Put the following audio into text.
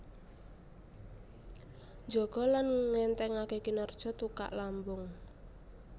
Njaga lan ngènthèngaké kinerja tukak lambung